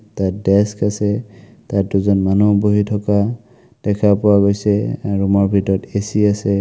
এটা ডেস্ক আছে তাত দুজন মানুহ বহি থকা দেখা পোৱা গৈছে আৰু ৰুম ৰ ভিতৰত এ_চি আছে।